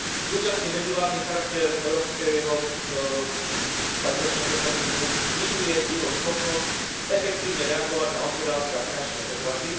Súčasný medzivládny charakter Európskeho stabilizačného mechanizmu znižuje jeho schopnosť efektívne reagovať na hospodárske a finančné otrasy.